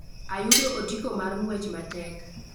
Ayudo otiko mar ng'wech matek